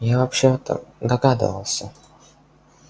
я вообще-то догадывался